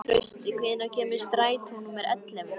Trausti, hvenær kemur strætó númer ellefu?